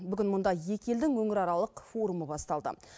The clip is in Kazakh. бүгін мұнда екі елдің өңіраралық форумы басталды